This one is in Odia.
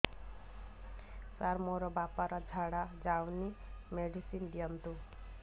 ସାର ମୋର ବାପା ର ଝାଡା ଯାଉନି ମେଡିସିନ ଦିଅନ୍ତୁ